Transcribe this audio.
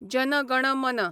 जन गण मन